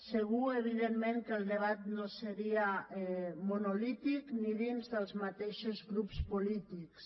segur evidentment que el debat no seria monolític ni dins dels mateixos grups polítics